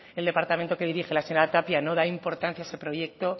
el departamento que dirige la señora tapia no da importancia a ese proyecto